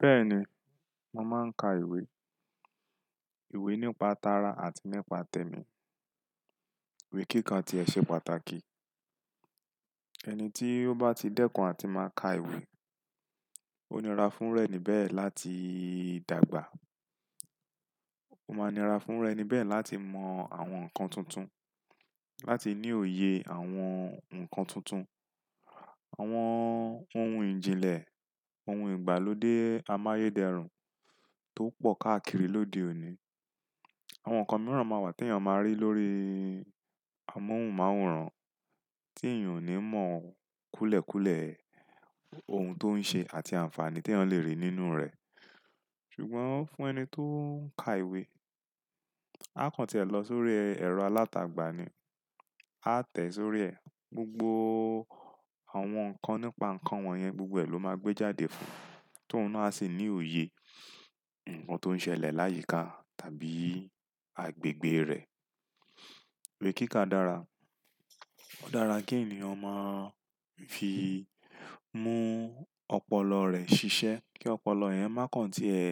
Bẹ́ẹ̀ni, mo máa ń ka ìwé. Ìwé nípa tara àti nípa tẹmi. Ìwé kíka ti ẹ ṣe pàtàkì. Ẹni tí ó bá ti dẹ́kun àti máa ka ìwé, ó nira fún ru eni bẹ̀ láti dàgbà. Ó máa nira fún ru enibẹ̀ láti mọ àwọn nǹkan tuntun, láti ní òye àwọn nǹkan tuntun, àwọn ohun ìjìnlẹ̀, ohun ìgbàlódé amáyédẹrùn tó pọ̀ káàkiri lóde òní. Àwọn nǹkan mìíràn máa wà tèèyàn máa rí lórí amóhùnmáwòrán ti èèyàn ò ní mọ̀ kúlẹ̀ kúlẹ̀ ohun tó ń ṣe àti àǹfààní tí èèyàn lè rí nínú rẹ̀. Ṣùgbọ́n fún ẹni tó ń ka ìwé. A kàn tíẹ lọ sórí ẹ̀rọ alátagbà ni, a tẹ̀ sórí ẹ̀, gbogbo àwọn nǹkan nípa nǹkan wọ̀nyẹn gbogbo ẹ̀ ló máa gbé jáde fún un, tó un ná à sì ní òye nǹkan tó ń ṣẹlẹ̀ láyìíká tàbí agbègbè rẹ̀. Ìwé kíkà dára. Ó dára kí ènìyàn máa fi mú ọpọlọ rẹ̀ ṣiṣẹ́, kí ọpọlọ yẹ̀n má kàn tí ẹ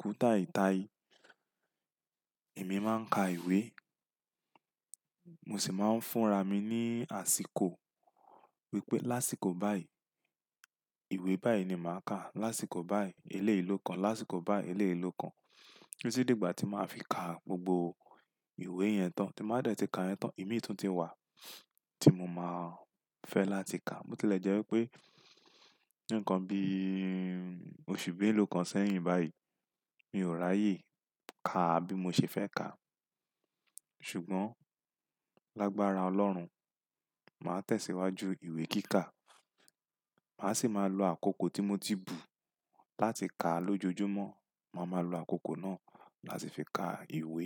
kú tai tai. Èmi máa ń ka ìwé, mo sì máa ń fúnra mi ní àsìkò wípé lásìkò báyìí, ìwé báyìí ni màá kà, lásìkò báyìí eleyii lo kan, lásìkò báyìí eleyii lo kan. Titi di ìgbà tí màá fi ka gbogbo ìwé yẹn tán, tí n ba dẹ̀ tí ka yen tán, ìmíì tun ti wà tí mo máa fẹ́ láti kà á. Bo tilẹ̀ jẹ́ wípé, ǹikan bí òṣù méèlo kan sẹ́yìn báyìí, mi ò ráyè ká a bí mo ṣe fẹ́ ká. Ṣùgbọ́n, lágbára Ọlọ́run, màá tẹ̀síwájú ìwé kíkà. Màá sì máa lo àkókò tí mo ti bù láti kà á lójojúmọ́. Màá máa lo àkókò náà láti fi ka ìwé.